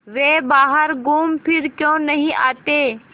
वे बाहर घूमफिर क्यों नहीं आते